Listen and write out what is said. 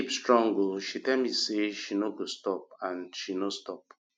my babe strong oo she tell me say she no go stop and she no stop